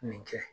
Nin kɛ